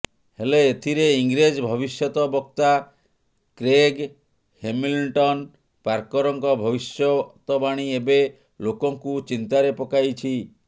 ହେଲେ ଏଥିରେ ଇଂରେଜ ଭବିଷ୍ୟତ ବକ୍ତା କ୍ରେଗ ହେମିଲ୍ଟନ ପାର୍କରଙ୍କ ଭବିଷ୍ୟତବାଣୀ ଏବେ ଲୋକଙ୍କୁ ଚିନ୍ତାରେ ପକାଇଛି